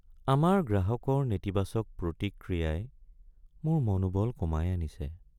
আমাৰ গ্ৰাহকৰ নেতিবাচক প্ৰতিক্ৰিয়াই মোৰ মনোবল কমাই আনিছে।